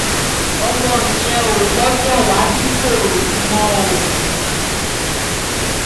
ọmọ yẹn ò gbọ́dọ̀ wá ṣìkòròdú mọ́ o